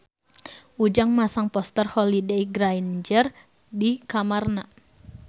Ujang masang poster Holliday Grainger di kamarna